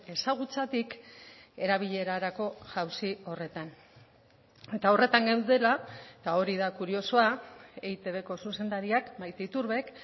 ezagutzatik erabilerarako jauzi horretan eta horretan geundela eta hori da kuriosoa eitbko zuzendariak maite iturbek